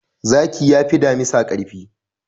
Zaki yafi damisa karfi.